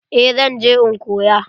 Eh zan je in koya.